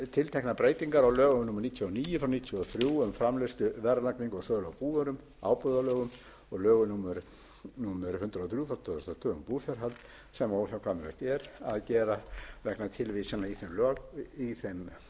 tilteknar breytingar á lögum númer níutíu og níu nítján hundruð níutíu og þrjú um framleiðslu verðlagningu og sölu á búvörum ábúðarlögum og lögum númer hundrað og þrjú tvö þúsund og tvö um búfjárhald sem óhjákvæmilegt er að gera vegna tilvísana í þeim lögum